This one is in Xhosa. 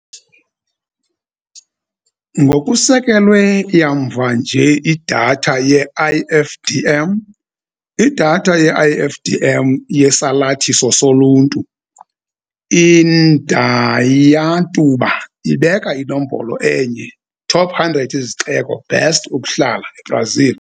Ngokusekelwe yamva nje Idatha ye-IFDM Idatha ye-IFDM yesalathiso soluntu, i-Indaiatuba ibeka inombolo enye "Top 100 izixeko best ukuhlala, eBrazil".